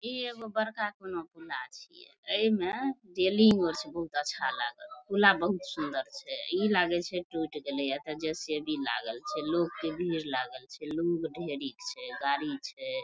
इ एगो बड़का पुला छै एमे रेलिंग आर छै बहुत अच्छा लागल पुला बहुत सुंदर छै इ लागे छै टूट गैले ये एते जे.सी.बी. लागल छै लोक के भीड़ लागल छै लोग ढेरी छै गाड़ी छै ।